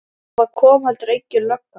Og það kom heldur engin lögga.